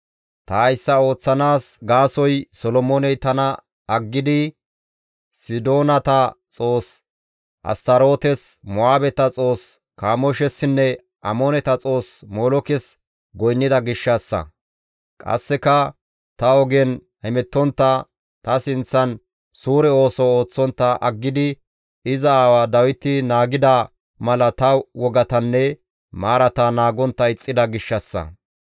Ta hayssa ooththanaas gaasoykka Solomooney tana aggidi Sidoonata xoos Astarootes, Mo7aabeta xoos Kamooshessinne Amooneta xoos Molookes goynnida gishshassa; qasseka ta ogen hemettontta, ta sinththan suure ooso ooththontta aggidi iza aawa Dawiti naagida mala ta wogatanne maarata naagontta ixxida gishshassa.